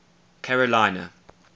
carolina